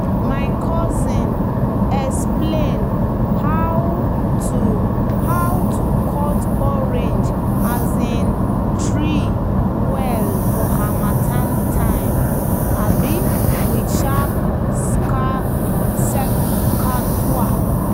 "my cousin explain how to how to cut orange um tree well for harmattan time um with sharp secateur."